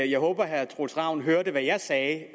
jeg håber at herre troels ravn hørte hvad jeg sagde